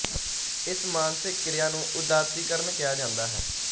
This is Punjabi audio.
ਇਸ ਮਾਨਸਿਕ ਕ੍ਰਿਆ ਨੂੰ ਉਦਾਤੀਕਰਨ ਕਿਹਾ ਜਾਂਦਾ ਹੈ